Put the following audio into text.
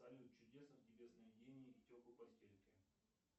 салют чудесных тебе сновидений и теплой постельки